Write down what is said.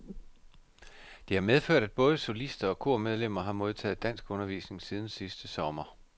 Det har medført, at både solister og kormedlemmer har modtaget danskundervisning siden sidste sommer.